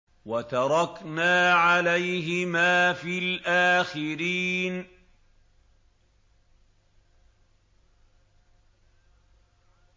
وَتَرَكْنَا عَلَيْهِمَا فِي الْآخِرِينَ